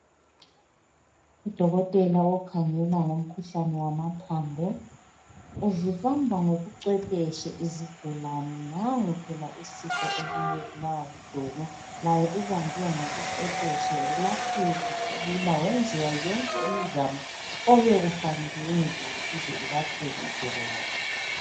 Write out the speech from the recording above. Udokotela okhangela ngomkhuhlane wamathambo uzibamba ngobucwephetshi izigulane nangu phela uSipho obuye ebulawa lidolo laye ubanjwe ngobucwephetshi welapheka kalula wenziwa yonke imizamo obekufanele yenziwe ukuze elapheke idolo lakhe.